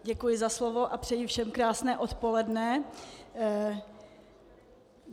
Děkuji za slovo a přeji všem krásné odpoledne.